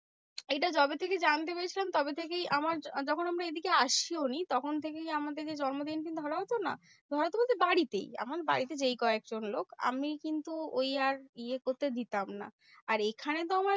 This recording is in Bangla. এইটা যবে থেকে জানতে পেরেছিলাম, তবে থেকেই আমার যখন আমরা এইদিকে আসিও নি তখন থেকেই আমাদেরকে জন্মদিন কিন্তু ধরাও তো না। ধরাতো বলতে বাড়িতেই, আমার বাড়িতে যেই কয়েকজন লোক। আমি কিন্তু ওই আর ইয়ে করতে দিতাম না। আর এখানে তো আমার